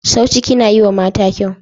Sau ciki na yiwa mata kyau.